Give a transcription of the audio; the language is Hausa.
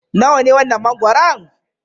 Nawa ne wannan mangoron?